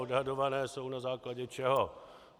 Odhadované jsou na základě čeho?